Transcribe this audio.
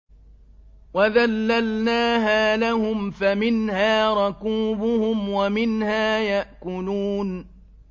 وَذَلَّلْنَاهَا لَهُمْ فَمِنْهَا رَكُوبُهُمْ وَمِنْهَا يَأْكُلُونَ